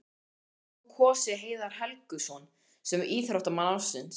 Hefðir þú kosið Heiðar Helguson sem íþróttamann ársins?